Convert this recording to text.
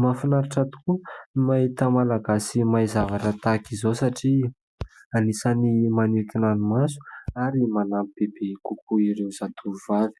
Mahafinaritra tokoa ny mahita malagasy mahay zavatra tahaka izao satria anisany manintona ny maso ary manampy bebe kokoa ireo zatovovavy.